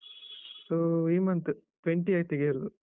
ಈ month twenty-eighth ಗೆ ಎಲ್ಲಾ.